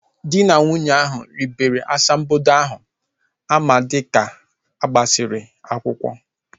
Dị na nwunye ahu ribere asambodo ahu ama dịka agbasiri akwụkwọ